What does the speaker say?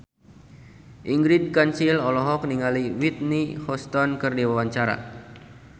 Ingrid Kansil olohok ningali Whitney Houston keur diwawancara